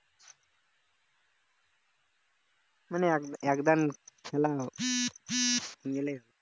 মানে এক এক দান খেলা গেলে